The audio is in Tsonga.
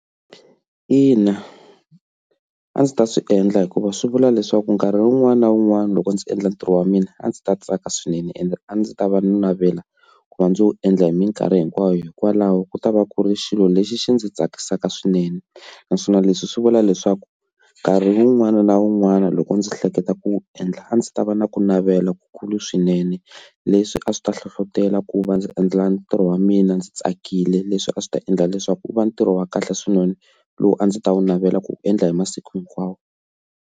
Ina, a ndzi ta swi endla hikuva swi vula leswaku nkarhi wun'wani na wun'wani loko ndzi endla ntirho wa mina a ndzi ta tsaka swinene ende a ndzi ta va ni navela ku va ndzi wu endla hi minkarhi hinkwayo hikwalaho ku ta va ku ri xilo lexi xi ndzi tsakisaka swinene, naswona leswi swi vula leswaku nkarhi wun'wana na wun'wana loko ndzi hleketa ku wu endla a ndzi ta va na ku navela ku kulu swinene leswi a swi ta hlohlotela ku va ndzi endla ntirho wa mina ndzi tsakile leswi a swi ta endla leswaku wu va ntirho wa kahle swinene lowu a ndzi ta wu navela ku wu endla hi masiku hinkwawo.